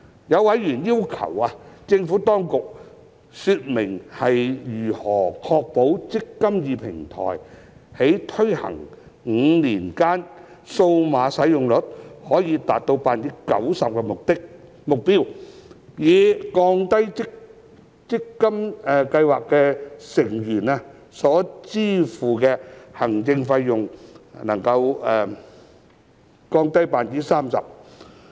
有委員要求政府當局說明如何確保"積金易"平台在推行5年間數碼使用率可達 90% 的目標，使計劃成員所支付的行政費得以降低 30%。